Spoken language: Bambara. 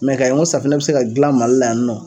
k'a ye ko safunɛ bɛ se ka dilan Mali la yan nɔ